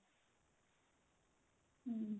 hm